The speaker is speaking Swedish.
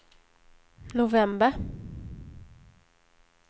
november